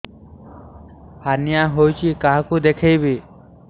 hernia ହୋଇଛି କାହାକୁ ଦେଖେଇବି